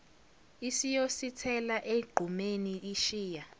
isiyosithela egqumeni ishiya